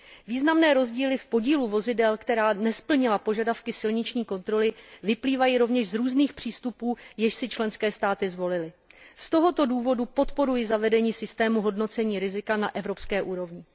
Významné rozdíly v podílu vozidel, která nesplnila požadavky silniční kontroly, vyplývají rovněž z různých přístupů, jež si členské státy zvolily. Z tohoto důvodu podporuji zavedení systému hodnocení rizika na evropské úrovni.